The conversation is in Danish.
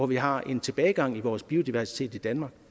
vi har en tilbagegang i vores biodiversitet i danmark